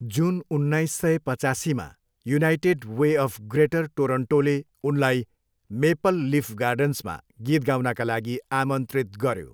जुन उन्नाइस सय पचासीमा युनाइटेड वे अफ ग्रेटर टोरोन्टोले उनलाई मेपल लिफ गार्डन्समा गीत गाउनका लागि आमन्त्रित गऱ्यो।